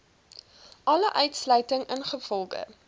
alle uitsluiting ingevolge